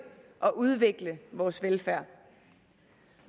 og udvikle vores velfærd